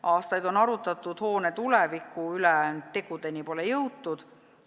Aastaid on arutatud hoone tuleviku üle, tegudeni pole jõutud.